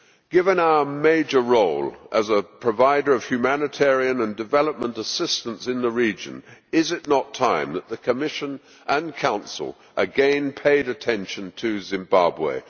Given our major role as a provider of humanitarian and development assistance in the region, is it not time that the Commission and the Council again paid attention to Zimbabwe?